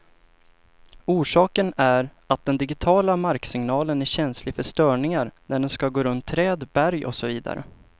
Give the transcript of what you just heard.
Orsaken är att den digitiala marksignalen är känslig för störningar när den skall gå runt träd, berg och så vidare.